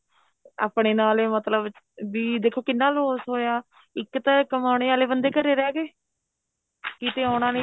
ਆਪਣੇ ਨਾਲ ਹੀ ਮਤਲਬ ਬੀ ਦੇਖੋ ਕਿੰਨਾ loss ਹੋਇਆ ਇੱਕ ਤਾਂ ਕਮਾਉਣੇ ਵਾਲੇ ਬਣਦੇ ਘਰੇ ਰਿਹ ਗਏ ਕਿਤੇ ਆਉਣਾ ਨੀ